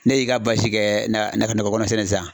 N'e y'i ka basi kɛ nakɔ nakɔ kɔnɔ ye sisan